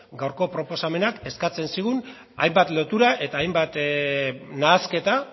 gaurko proposamenak eskatzen zigun hainbat lotura eta hainbat nahasketa